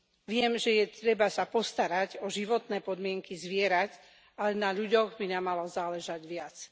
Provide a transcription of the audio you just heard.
Viem, že je potrebné sa postarať o životné podmienky zvierat, ale na ľuďoch by nám malo záležať viac.